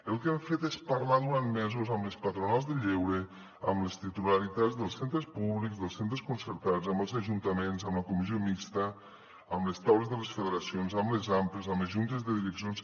el que hem fet és parlar durant mesos amb les patronals del lleure amb les titularitats dels centres públics dels centres concertats amb els ajuntaments amb la comissió mixta amb les taules de les federacions amb les ampas amb les juntes de direccions